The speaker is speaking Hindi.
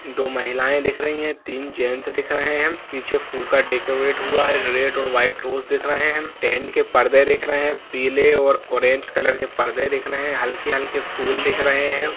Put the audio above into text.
दो महिलाएं दिख रही हैं तीन जेंट्स दिख रहे हैं पीछे फूल का डेकोरेट हुआ है रेड और व्हाइट रोज़ दिख रहे हैं टेंट के परदे दिख रहे हैं पीले और ऑरेंज कलर के परदे दिख रहे हैं हल्के हल्के फूल दिख रहे हैं।